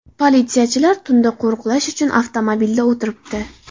Politsiyachilar tunda qo‘riqlash uchun avtomobilda o‘tiribdi.